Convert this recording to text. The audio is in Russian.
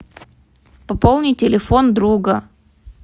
пополни телефон друга